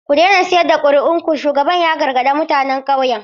Ku daina sayar da kuri'un ku, shugaban ya gargaɗi mutanen ƙauyen.